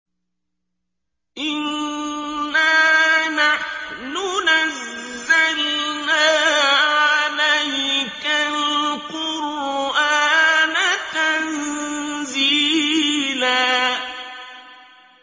إِنَّا نَحْنُ نَزَّلْنَا عَلَيْكَ الْقُرْآنَ تَنزِيلًا